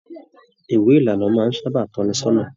Ìwé ìlànà máa n tọ ní sọnà.